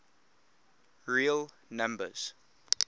real numbers